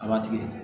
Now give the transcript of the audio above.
A b'a tigɛ